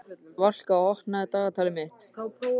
Valka, opnaðu dagatalið mitt.